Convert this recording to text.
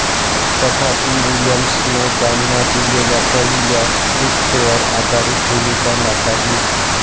तथापि विल्यम्सने त्यांना दिलेल्या पहिल्या स्क्रिप्टवर आधारित भूमिका नाकारली